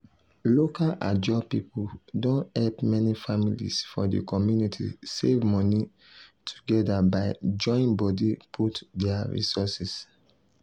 local ajo people don help many families for di community save money together by join body put their resources.